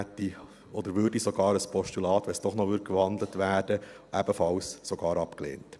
Man würde sogar ein Postulat, wenn es doch noch gewandelt werden würde, ebenfalls ablehnen.